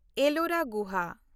Ellora ᱜᱩᱦᱟ